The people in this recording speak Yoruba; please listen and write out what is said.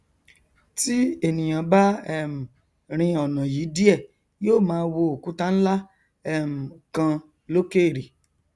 ti ènìà bá um rin ọnà yìí díẹ yó máa wo òkúta nlá um kan lókèrè